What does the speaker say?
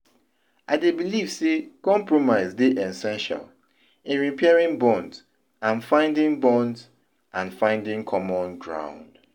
I dey believe say compromise dey essential in repairing bonds and finding bonds and finding common ground.